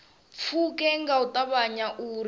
pfuke nga u ṱavhanya uri